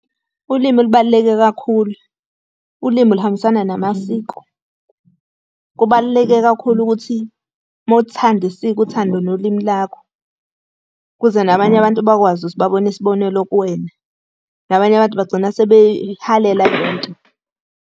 Ulimi lubaluleke kakhulu, ulimi luhambisana namasiko. Kubaluleke kakhulu ukuthi uma uthanda isiko uthande nolimi lakho, ukuze nabanye abantu bakwazi ukuthi babone isibonelo kuwena. Nabanye abantu bagcina sebeyihalela lento.